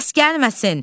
Səs gəlməsin!